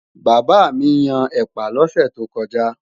bàbá mí Yàn ẹpa lose tó koja